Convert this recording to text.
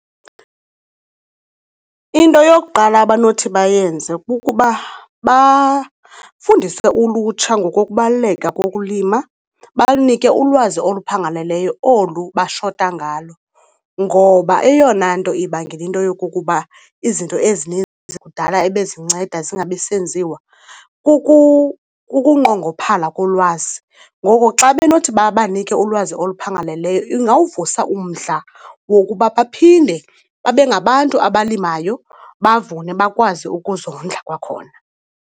Into yokuqala abanothi bayenze kukuba bafundise ulutsha ngokokubaluleka kokulima, balunike ulwazi oluphangaleleyo olu bashota ngalo ngoba eyona nto ibangela into yokokuba izinto ezininzi kudala ebezinceda zingabisenziwa kukungqongophala kolwazi. Ngoko ke xa benothi babanike ulwazi oluphangaleleyo ingawuvusa umdla wokuba baphinde babe ngabantu abalimayo, bavune bakwazi ukuzondla kwakhona.